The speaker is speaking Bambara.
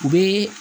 U bɛ